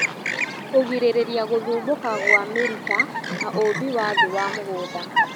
Kũgirĩrĩria gũthumbũka gwa mĩrita na ũũmbi wa thiĩ wa mũgũnda